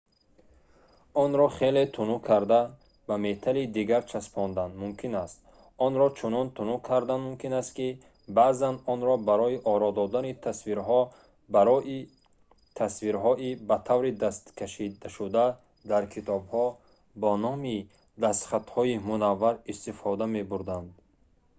онро хеле тунук карда ба металли дигар часпондан мумкин аст онро чунон тунук кардан мумкин аст ки баъзан онро барои оро додани тасвирҳои ба таври дастӣ кашидашуда дар китобҳо бо номи дастхатҳои мунаввар истифода мебурданд